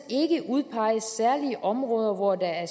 ikke udpeges særlige områder hvor der er